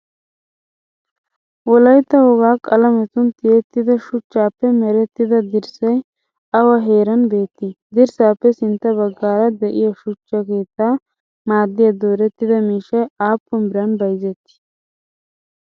wolaytta woga qaalametun tiyetidda suchchappe meretidda dirssay awa heeran beettii? dirssappe sintta baggara de'iya shuchchaa keettaa maadiya dooretida miishshay aappun biran bayzzettii?